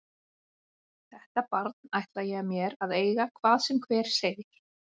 Þetta barn ætla ég mér að eiga hvað sem hver segir.